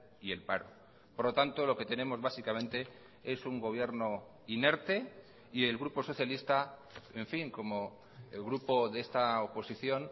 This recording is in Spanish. y el paro por lo tanto lo que tenemos básicamente es un gobierno inerte y el grupo socialista en fin como el grupo de esta oposición